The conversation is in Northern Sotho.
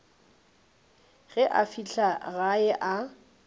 ge a fihla gae a